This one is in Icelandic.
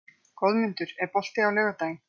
Goðmundur, er bolti á laugardaginn?